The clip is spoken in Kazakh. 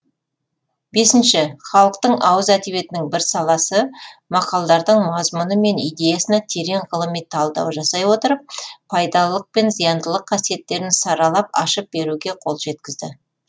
бесінші халықтың ауыз әдебиетінің бір саласы мақалдардың мазмұны мен идеясына терең ғылыми талдау жасай отырып пайдалылық пен зияндылық қасиеттерін саралап ашып беруге қол жеткізді